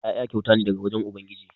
Ƴaƴa kyauta ne daga wurin ubangiji.